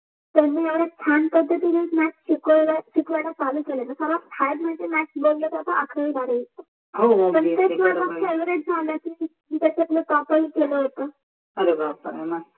त्यानि एवढ्या छान पधतीन मॅथ्स शिकवायला शिकवायला चालू केल न सर्वात हार्ड मंजे अकरावी बारावी, पन तेच माझ फेवरेट झाल त्याच्यात टॉप पन केल होत